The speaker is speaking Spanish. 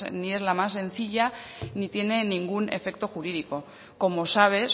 ni es la más sencilla ni tiene ningún efecto jurídico como sabe